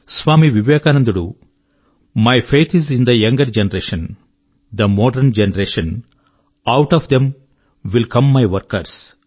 స్వామి వివేకానందుడు చెప్పాడు my faith is in the younger generation the modern generation out of them will come my workers